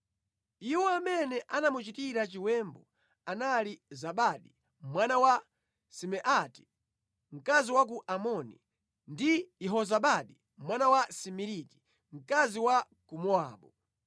Iwo amene anamuchitira chiwembu anali Zabadi mwana wa Simeati, mkazi wa ku Amoni, ndi Yehozabadi mwana wa Simiriti, mkazi wa ku Mowabu.